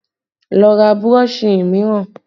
Lọ ra burọ̀ṣì mìíràn!